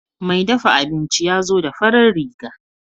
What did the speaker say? Mai dafa abinci yazo da farar riga.